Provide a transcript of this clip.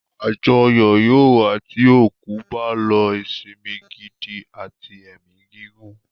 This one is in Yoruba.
Àjọyọ̀ yóò wà tí òkú bá ló ìsẹ̀mí gidi àti ẹ̀mi gígùn.